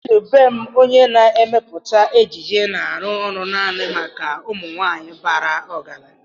Chidubem onye na-emepụta ejiji na-arụ ọrụ naanị maka ụmụ nwanyị bara ọgaranya.